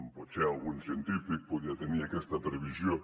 potser algun científic podia tenir aquesta previsió